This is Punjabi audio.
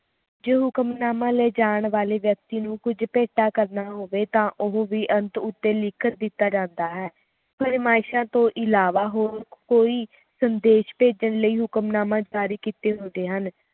ਹੁਕਮਨਾਮਾ ਲਿਜਾਣ ਵਾਲੇ ਵਿਅਕਤੀ ਨੂੰ ਕੁਜ ਭੇਟਾ ਕਰਨਾ ਹੋਵੇ ਤਾ ਉਹ ਵੀ ਅੰਤ ਉੱਤੇ ਲਿਖਤ ਦਿੱਤਾ ਜਾਂਦਾ ਹੈ ਫਰਮਾਇਸ਼ਾਂ ਤੋਂ ਅਲਾਵਾ ਹੋਰ ਕੋਈ ਸੰਦੇਸ਼ ਭੇਜਣ ਲਈ ਹੁਕਮਨਾਮਾ ਜਾਰੀ ਕੀਤੇ ਹੁੰਦੇ ਹਨ